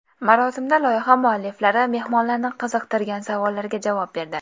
Marosimda loyiha mualliflari mehmonlarni qiziqtirgan savollarga javob berdi.